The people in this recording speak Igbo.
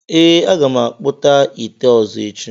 Ee, m ga-akpụta ite ọzọ echi.